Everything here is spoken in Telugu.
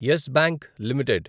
yes Bank limited